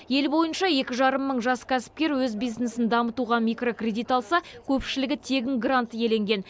ел бойынша екі жарым мың жас кәсіпкер өз бизнесін дамытуға микрокредит алса көпшілігі тегін грант иеленген